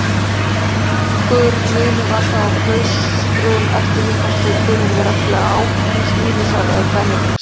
Nokkur munur var þó á klaustrum eftir hvort þau tilheyrðu reglu Ágústínusar eða Benedikts.